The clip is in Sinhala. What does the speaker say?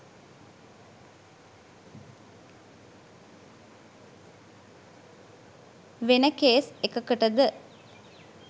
වෙන කේස් එකකටද?